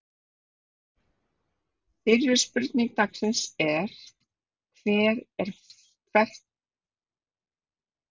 Fyrri spurning dagsins er: Hvert er flottasta markið?